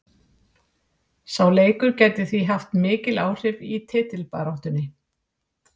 Sá leikur gæti því haft mikil áhrif í titilbaráttunni.